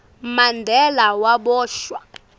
mandela waboshwa